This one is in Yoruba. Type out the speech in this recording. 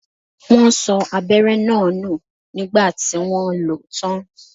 Wọn sọ abẹ́rẹ́ náà nù nígbà tí wọ́n lo ó tán